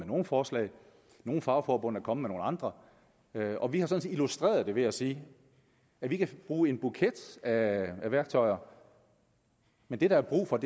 nogle forslag nogle fagforbund er kommet med nogle andre og vi har sådan set illustreret det ved at sige at vi kan bruge en buket af værktøjer men det der er brug for